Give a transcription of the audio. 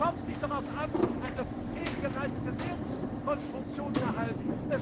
Es kommt nicht darauf an, eine fehlgeleitete Währungskonstruktion zu erhalten.